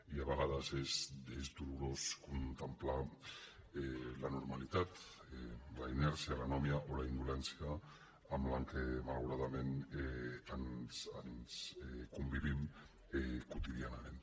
i a vegades és dolorós contemplar la normalitat la inèrcia l’anomia o la indolència amb què malauradament convivim quotidianament